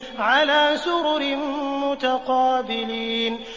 عَلَىٰ سُرُرٍ مُّتَقَابِلِينَ